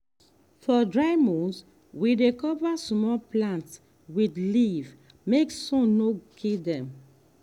for dry months we dey cover small plants with leaf make sun no kill dem.